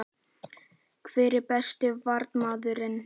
Hver er besti Varnarmaðurinn?